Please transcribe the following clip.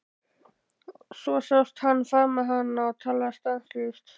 Svo sást hann faðma hana og tala stanslaust.